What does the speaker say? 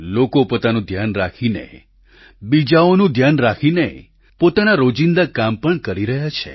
લોકો પોતાનું ધ્યાન રાખીને બીજાઓનું ધ્યાન રાખીને પોતાના રોજીંદા કામ પણ કરી રહ્યા છે